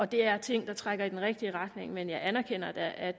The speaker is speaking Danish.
det er ting der trækker i den rigtige retning men jeg anerkender da at